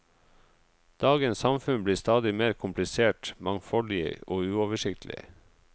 Dagens samfunn blir stadig mer komplisert, mangfoldig og uoversiktlig.